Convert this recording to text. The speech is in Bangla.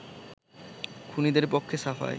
খুনীদের পক্ষে সাফাই